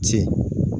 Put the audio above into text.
Ci